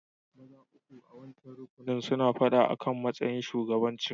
Maza uku a'wancan rukunin suna fada akan matsayin shugabancin.